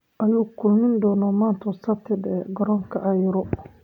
"oo ay ku kulmi doonaan maanta Sabtida garoonka Cairo."